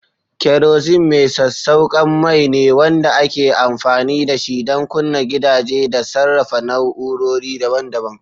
Kerosene mai sassauƙan mai ne wanda ake amfani da shi don kunna gidaje da sarrafa na'urori daban-daban.